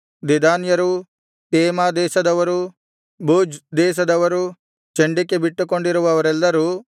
ದೆದಾನ್ಯರು ತೇಮಾ ದೇಶದವರು ಬೂಜ್ ದೇಶದವರು ಚಂಡಿಕೆ ಬಿಟ್ಟುಕೊಂಡಿರುವವರೆಲ್ಲರು